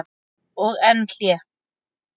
Og enn hlé.